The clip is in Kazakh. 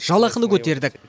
жалақыны көтердік